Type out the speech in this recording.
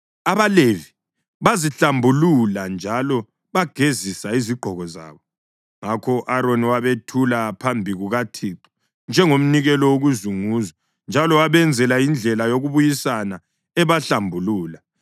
AbaLevi bazihlambulula njalo bagezisa izigqoko zabo. Ngakho u-Aroni wabethula phambi kukaThixo njengomnikelo wokuzunguzwa njalo wabenzela indlela yokubuyisana ebahlambulula.